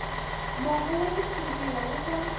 mongo wa xitshuriwa wu va